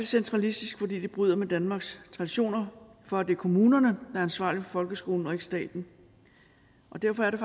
centralistisk fordi det bryder med danmarks traditioner for at det er kommunerne er ansvarlige for folkeskolen og ikke staten derfor er